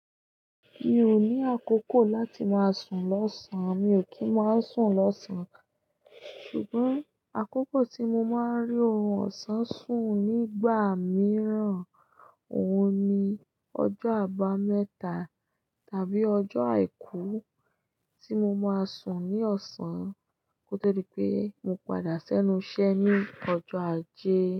Mi ò ní àkókò láti máa sùn lọ́sàn-án. Mi ò kí ń máa sùn lọ́sàn-án ká. Ṣùgbọ́n àkókò tí mo máa ń rí orun ọ̀sán sùn nígbà mìíràn, òun ni ọjọ́ àbámẹ́ta tàbí ọjọ́ àìkú tí mo máa sùn ní ọ̀sán kó tó dí pé mo padà sẹ́nu iṣẹ́ ní ọjọ́ ajé.